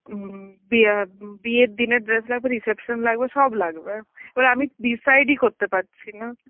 হম বিয়া~ উম বিয়ের দিনের dress লাগবে, reception লাগবে সব লাগবে এবার আমি decide ই করতে পারছি না.